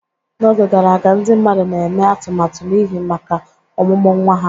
N'oge gara aga, ndị mmadụ na-eme atụmatụ n'ihu maka ọmụmụ nwa ha.